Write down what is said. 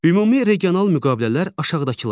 Ümumi regional müqavilələr aşağıdakılardır: